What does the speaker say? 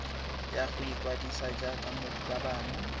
ya go ikwadisa jaaka morutabana